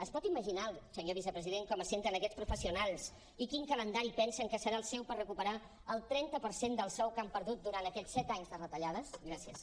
es pot imaginar senyor vicepresident com es senten aquests professionals i quin calendari pensen que serà el seu per recuperar el trenta per cent del sou que han perdut durant aquests set anys de retallades gràcies